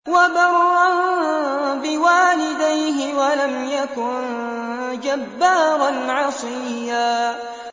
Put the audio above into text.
وَبَرًّا بِوَالِدَيْهِ وَلَمْ يَكُن جَبَّارًا عَصِيًّا